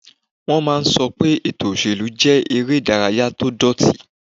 Wọ́n máa n sọ pé ètò ìṣèlú jẹ́ eré ìdárayá tó dọ̀ọ̀tí